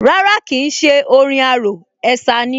Rárá kìí ṣé orin arò, ẹ̀sà ni